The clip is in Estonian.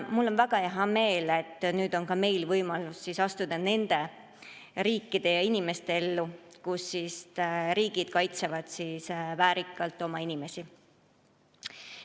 Mul on väga hea meel, et nüüd on ka meil võimalus astuda nende riikide ritta, kes oma inimesi väärikalt kaitsevad.